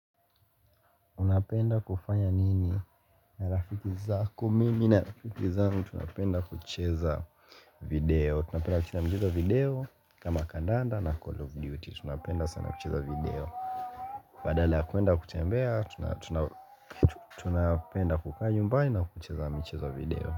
Unapenda kufanya nini na rafiki zako mimi na rafiki zangu tunapenda kucheza video Tunapenda kucheza michezo ya video kama kandanda na call of duty tunapenda sana kucheza video badhala kuenda kutembea tunapenda kukakaa nyumbani na kucheza michezo video.